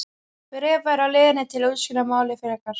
Bréf væri á leiðinni til að útskýra málið frekar.